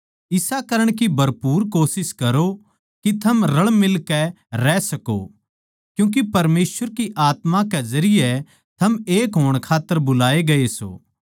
इसा करण की भरपूर कोशिश करो के थम रळमिलकै रह सकों क्यूँके परमेसवर की आत्मा के जरिये थम एक होण खात्तर बुलाए गये सों